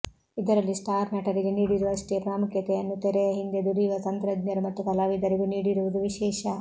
ಇದರಲ್ಲಿ ಸ್ಟಾರ್ ನಟರಿಗೆ ನೀಡಿರುವಷ್ಟೇ ಪ್ರಾಮುಖ್ಯತೆಯನ್ನು ತೆರೆಯ ಹಿಂದೆ ದುಡಿಯುವ ತಂತ್ರಜ್ಞರು ಮತ್ತು ಕಲಾವಿದರಿಗೂ ನೀಡಿರುವುದು ವಿಶೇಷ